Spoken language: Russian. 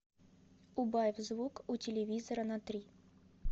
убавь звук у телевизора на три